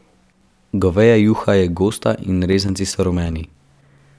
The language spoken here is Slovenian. Goveja juha je gosta in rezanci so rumeni.